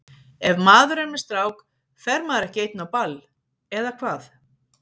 Ef maður er með strák fer maður ekki einn á ball, eða hvað?